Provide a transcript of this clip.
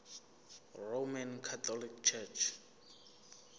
roman catholic church